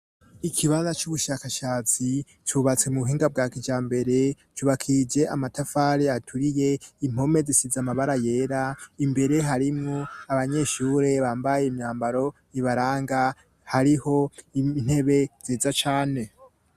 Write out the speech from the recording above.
Ikibaza c'ubushakashatsi cubatse mu buhinga bwa kija mbere cubakije amatafare aturiye impome zisiza amabara yera imbere harimwo abanyeshure bambaye imyambaro ibaranga hariho intebe ziza cane.